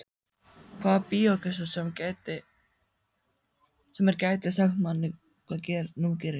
Hvaða bíógestur sem er gæti sagt manni hvað nú gerist.